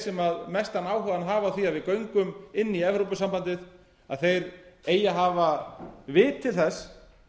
sem mestan áhuga hafa á því að við göngum inn í evrópusambandið eigi að hafa vit til þess